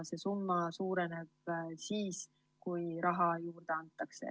See summa suureneb siis, kui raha juurde antakse.